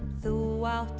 þú átt